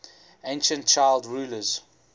ancient child rulers